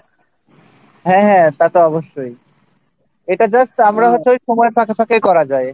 হ্যাঁ তা তো অবশ্যই এটা just আমরা হচ্ছে সময়ের ফাঁকে ফাঁকে করা যায়